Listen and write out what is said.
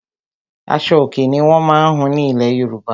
Aṣo-Òkè ni wọ́n má ń hun ní ilẹ̀ Yorùbá.